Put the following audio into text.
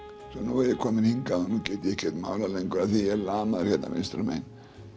nú er ég kominn hingað og ég get ekkert málað lengur því ég er lamaður hérna vinstra megin